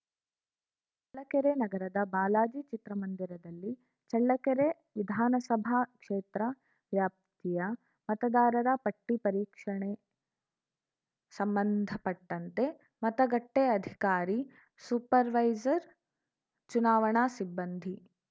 ಚಳ್ಳಕೆರೆ ನಗರದ ಬಾಲಾಜಿ ಚಿತ್ರಮಂದಿರದಲ್ಲಿ ಚಳ್ಳಕೆರೆ ವಿಧಾನಸಭಾ ಕ್ಷೇತ್ರ ವ್ಯಾಪ್ತಿಯ ಮತದಾರರ ಪಟ್ಟಿಪರೀಕ್ಷರಣೆ ಸಂಬಂಧಪಟ್ಟಂತೆ ಮತಗಟ್ಟೆಅಧಿಕಾರಿ ಸೂಪರ್‌ವೈಜರ್‌ ಚುನಾವಣಾ ಸಿಬ್ಬಂದಿ